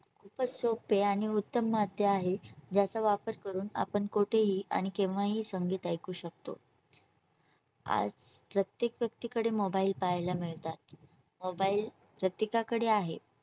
खूपच सोपे आणि उत्तम मध्ये आहे ज्याचा वापर करून आपण कुठेही आणि केव्हाही संगीत ऐकू शकतो आज प्रत्येक व्यक्तीकडे mobile पाहायला मिळतात mobile प्रत्येकाकडे आहे